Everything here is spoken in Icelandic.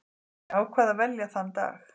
Ég ákvað að velja þann dag.